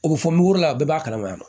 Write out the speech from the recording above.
O bɛ fɔ mugula a bɛɛ b'a kalama